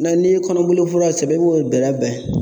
n'i ye kɔnɔboli fura sɛbɛn i b'o bɛrɛbɛn